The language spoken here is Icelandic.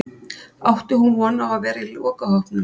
Átti hún von á að vera í lokahópnum?